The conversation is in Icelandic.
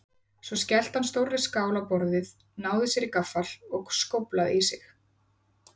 Svo skellti hann stórri skál á borðið, náði sér í gaffal og skóflaði í sig.